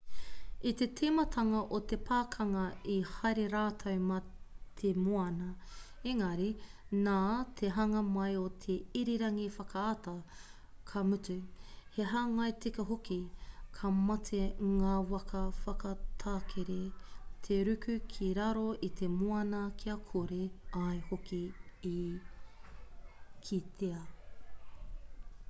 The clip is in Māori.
i te tīmatanga o te pakanga i haere rātou mā te moana engari nā te hanga mai o te irirangi whakaata ka mutu he hāngai tika hoki ka mate ngā waka whakatakere te ruku ki raro i te moana kia kore ai hoki e kitea